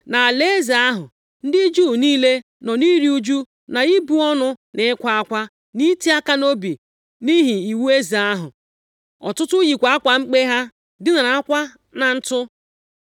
Nʼalaeze ahụ ndị Juu niile, nọ nʼiru ụjụ na ibu ọnụ na ịkwa akwa na iti aka nʼobi nʼihi iwu eze ahụ. Ọtụtụ yikwa akwa mkpe ha, dinarakwa na ntụ.